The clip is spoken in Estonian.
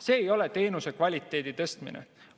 See ei ole teenuse kvaliteedi tõstmine.